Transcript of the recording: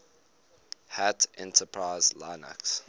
hat enterprise linux